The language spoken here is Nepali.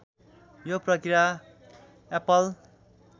यो प्रक्रिया एप्पल